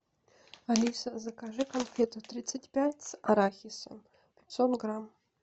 алиса закажи конфеты тридцать пять с арахисом пятьсот грамм